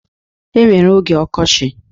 E nwere oge ọkochị.